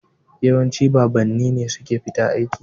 Yawanci babanni ne suke fita aiki.